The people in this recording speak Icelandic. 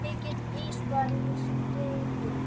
Mikill ís var á stígum.